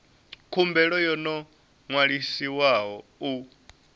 khumbelo yo no ṅwaliswaho u